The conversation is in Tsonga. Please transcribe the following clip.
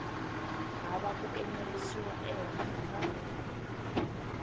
hava ku enerisiwa ehenhla ka